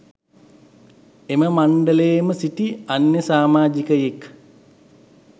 එම මණ්ඩලයේ ම සිටි අන්‍ය සාමාජිකයෙක්